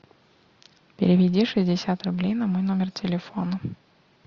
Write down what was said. переведи шестьдесят рублей на мой номер телефона